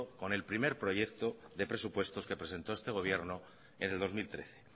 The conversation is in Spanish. con el primer proyecto de presupuestos que presentó este gobierno en el dos mil trece